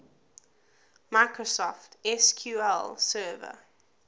microsoft sql server